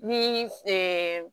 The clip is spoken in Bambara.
Ni